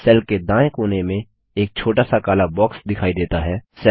cell के दाएं कोने में एक छोटा सा काला बॉक्स दिखाई देता है